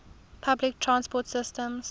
public transport systems